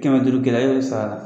Kɛmɛ duuru gɛla y'o d saa